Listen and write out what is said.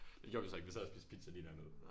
Det gjorde vi så ikke vi sad og spiste pizza lige dernede